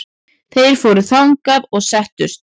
Þeir fóru þangað og settust.